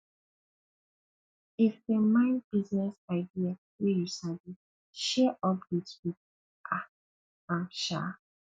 if em nid business idea wey yu sabi share update wit um am um